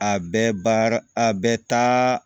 A bɛɛ baara a bɛɛ taa